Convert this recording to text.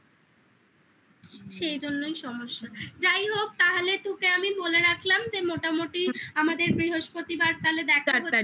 সেই জন্যই সমস্যা যাই হোক তাহলে তোকে আমি বলে রাখলাম যে মোটামুটি আমাদের বৃহস্পতিবার তাহলে দেখা হচ্ছে